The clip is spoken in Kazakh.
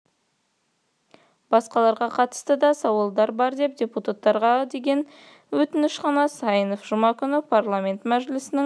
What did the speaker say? басқаларға қатысты да сауалдар бар депутаттарға деген өтініш қана деді сайынов жұма күні парламент мәжілісінің